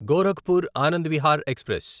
Gorakhpur Anand Vihar express